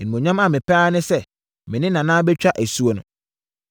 Animuonyam a mepɛ ara ne sɛ me ne Nana bɛtwa asuo no.